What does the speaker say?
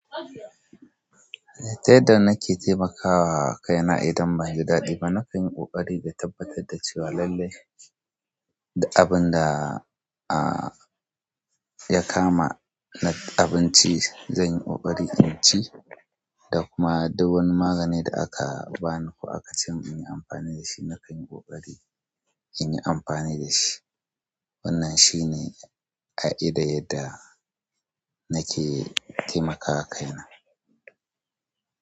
Ta yaddda nake taimakawa kaina idan banyi daɗi ba. Na kanyi ƙoƙari da tabbatar da cewa lallai duk abin da. A ya kama na abinci, zanyi ƙoƙari in ci da kuma duk wani magani da aka bani ko aka ce in yi amfani da shi, na kayi ƙoƙari in yi amfani da shi. Wannan shine ƙa'ida yadda nake taimakawa kaina.